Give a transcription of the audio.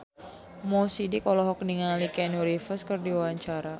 Mo Sidik olohok ningali Keanu Reeves keur diwawancara